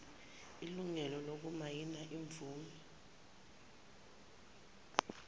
ilungelo lokumayina imvume